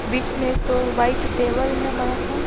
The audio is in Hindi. बीच में एक वाइट टेबल है बड़ा सा।